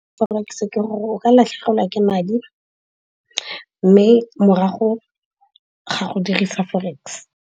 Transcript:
Forex ke gore o ka latlhegelwa ke madi mme morago ga go dirisa forex.